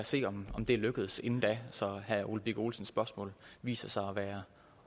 se om det er lykkedes inden da så herre ole birk olesens spørgsmål viser sig at være